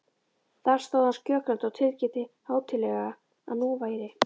Þar stóð hann skjögrandi og tilkynnti hátíðlega, að nú væri